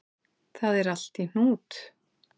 Það er allt í hnút